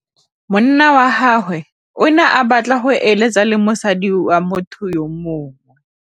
Monna wa gagwe o ne a batla go êlêtsa le mosadi wa motho yo mongwe.